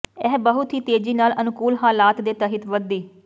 ਇਹ ਬਹੁਤ ਹੀ ਤੇਜ਼ੀ ਨਾਲ ਅਨੁਕੂਲ ਹਾਲਾਤ ਦੇ ਤਹਿਤ ਵਧਦੀ